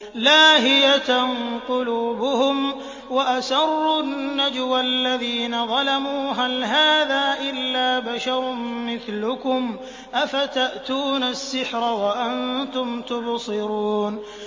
لَاهِيَةً قُلُوبُهُمْ ۗ وَأَسَرُّوا النَّجْوَى الَّذِينَ ظَلَمُوا هَلْ هَٰذَا إِلَّا بَشَرٌ مِّثْلُكُمْ ۖ أَفَتَأْتُونَ السِّحْرَ وَأَنتُمْ تُبْصِرُونَ